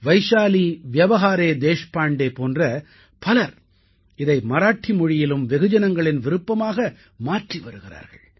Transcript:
வைஷாலீ வ்யவஹாரே தேஷ்பாண்டே போன்ற பலர் இதை மராட்டி மொழியிலும் வெகுஜனங்களின் விருப்பமாக மாற்றி வருகிறார்கள்